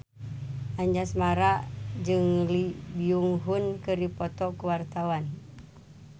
Anjasmara jeung Lee Byung Hun keur dipoto ku wartawan